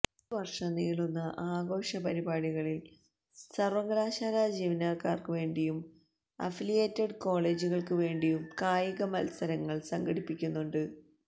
ഒരുവർഷം നീളുന്ന ആഘോഷപരിപാടികളിൽ സർവകലാശാലാ ജീവനക്കാർക്കുവേണ്ടിയും അഫിലിയേറ്റഡ് കോളേജുകൾക്കു വേണ്ടിയും കായികമത്സരങ്ങൾ സംഘടിപ്പിക്കുന്നുണ്ട്